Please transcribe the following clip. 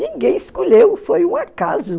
Ninguém escolheu, foi um acaso.